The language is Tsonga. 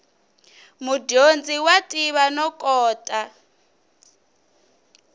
mudyondzi wa tiva no kota